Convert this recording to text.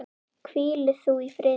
Hvíli þú í friði.